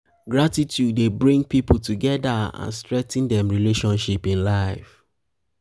gratitude dey bring people together and strengthen dem relationship in life.